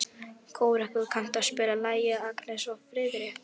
Kórekur, kanntu að spila lagið „Agnes og Friðrik“?